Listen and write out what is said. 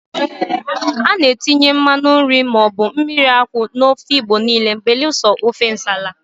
A na-etinye mmanụ nri maọbụ mmiri akwụ n'ofe Igbo niile belụsọ ofe nsala.